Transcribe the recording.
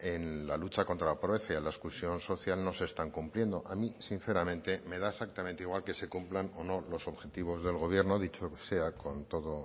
en la lucha contra la pobreza y la exclusión social no se están cumpliendo a mí sinceramente me da exactamente igual que se cumplan o no los objetivos del gobierno dicho sea con todo